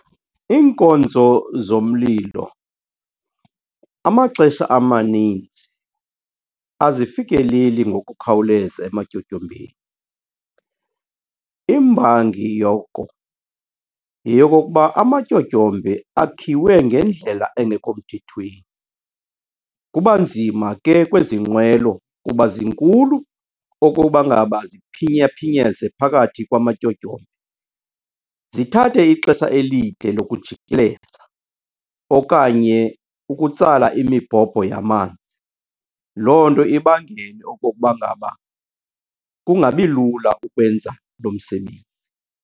Iinkonzo zomlilo, amaxesha amaninzi azifikeleli ngokukhawuleza ematyotyombeni. Imbangi yoko yeyokokuba amatyotyombe akhiwe ngendlela engekho mthethweni. Kuba nzima ke kwezi nqwelo kuba zinkulu okoba ngaba ziphinyaphinyeze phakathi kwamatyotyombe, zithathe ixesha elide lokujikeleza okanye ukutsala imibhobho yamanzi. Loo nto ibangele okokuba ngaba kungabi lula ukwenza lo msebenzi.